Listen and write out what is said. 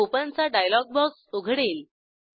open चा dialog box उघडेल